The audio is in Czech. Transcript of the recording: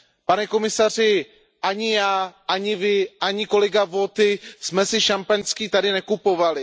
Pane komisaři, ani já, ani vy, ani kolega Viotti jsme si šampaňské tady nekupovali.